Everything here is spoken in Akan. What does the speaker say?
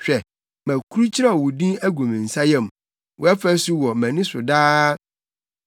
Hwɛ, makurukyerɛw wo din agu me nsa yam wʼafasu wɔ mʼani so daa.